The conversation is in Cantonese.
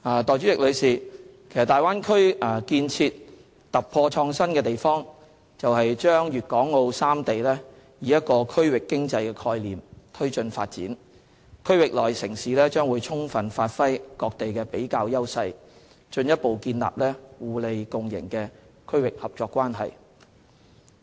代理主席，大灣區建設突破創新之處，就是把粵港澳三地以一個區域經濟概念推進發展，區域內城市將充分發揮各地的比較優勢，進一步建立互利共贏的區域合作關係。